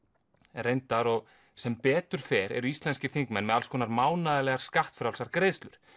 reyndar og sem betur fer eru íslenskir þingmenn með alls konar mánaðarlegar skattfrjálsar greiðslur